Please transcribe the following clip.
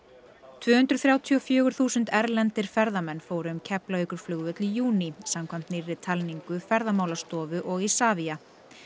tvö hundruð þrjátíu og fjögur þúsund erlendir ferðamenn fóru um Keflavíkurflugvöll í júní samkvæmt nýrri talningu Ferðamálastofu og Isavia